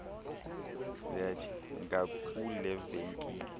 zet ngakule venkile